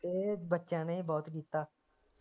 ਤੇ ਬੱਚਿਆਂ ਨੇ ਵੀ ਬਹੁਤ ਕੀਤਾ